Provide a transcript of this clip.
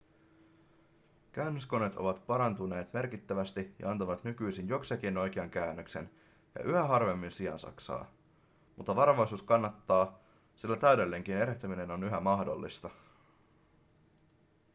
käännöskoneet ovat parantuneet merkittävästi ja antavat nykyisin jokseenkin oikean käännöksen ja yhä harvemmin siansaksaa mutta varovaisuus kannattaa sillä täydellinenkin erehtyminen on yhä mahdollista